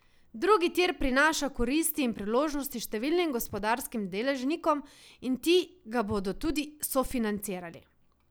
Drugi tir prinaša koristi in priložnosti številnim gospodarskim deležnikom in ti ga bodo tudi sofinancirali.